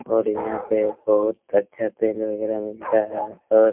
और यहाँ पे बहुत अच्छा तेल वगैरा मिलता है और --